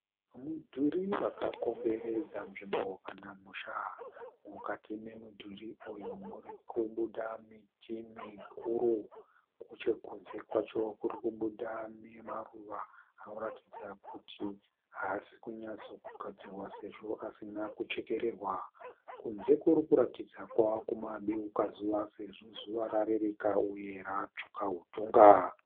Mudhuri wakakomberedza nzvimbo kana musha. Mukati memudhuri uyu murikubuda miti mikuru. Nechekunze kwacho kuri kubuda nemaruva anoratidza kuti haaasi kunyatsogadzirwa sezvo asina kuchekererwa. Kunze kuri kuratidza kuti kwave kumadeuka zuva sezvo zuva rarereka uye ratsvuka hutonga.